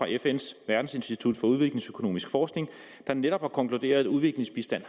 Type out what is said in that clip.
af fns verdensinstitut for udviklingsøkonomisk forskning der netop har konkluderet at udviklingsbistand